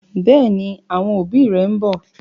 Bẹẹni, àwọn òbí rẹ ḿbọ̀